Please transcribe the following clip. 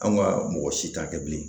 Anw ka mɔgɔ si t'a kɛ bilen